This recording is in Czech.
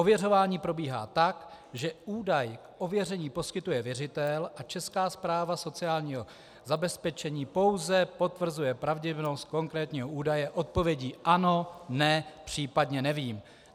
Ověřování probíhá tak, že údaj k ověření poskytuje věřitel a Česká správa sociálního zabezpečení pouze potvrzuje pravdivost konkrétního údaje odpovědí - ano, ne, případně nevím.